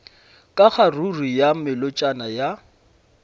ka kgaruru ya melotšana ya